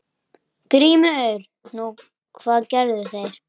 GRÍMUR: Nú, hvað gerðu þeir?